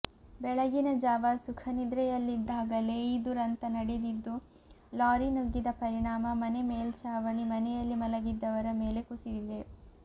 ಬೆಳಗಿನ ಜಾವ ಸುಖನಿದ್ರೆಯಲ್ಲಿದ್ದಾಗಲೇ ಈ ದುರಂತ ನಡೆದಿದ್ದು ಲಾರಿ ನುಗ್ಗಿದ ಪರಿಣಾಮ ಮನೆ ಮೇಲ್ಛಾವಣಿ ಮನೆಯಲ್ಲಿ ಮಲಗಿದ್ದವರ ಮೇಲೆ ಕುಸಿದಿದೆ